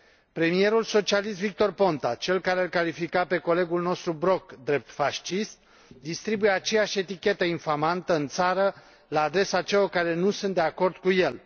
Premierul socialist Victor Ponta, cel care l califica pe colegul nostru Brok drept fascist, distribuie aceeași etichetă infamantă în țară la adresa celor care nu sunt de acord cu el.